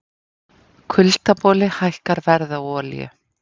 Kuldaboli hækkar verð á olíu